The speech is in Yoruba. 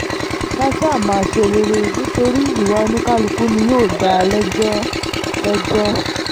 ká sá máa ṣe rere nítorí ìwà oníkálukú ni yóò dá a lẹ́jọ́ lẹ́jọ́